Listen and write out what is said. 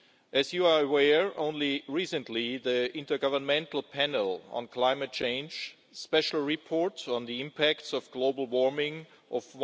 As you are aware, only recently the Intergovernmental Panel on Climate Change special report on the impacts of global warming of